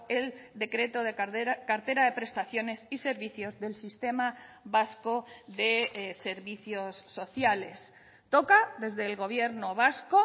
el decreto de cartera de prestaciones y servicios del sistema vasco de servicios sociales toca desde el gobierno vasco